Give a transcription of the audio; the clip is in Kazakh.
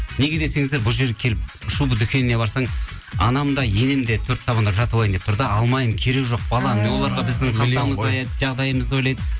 неге десеңіздер бұл жерге келіп шуба дүкеніне барсаң анам да енем де төрт табандап жатып алайын деп тұр да алмаймын керегі жоқ балам жағдайымызды ойлайды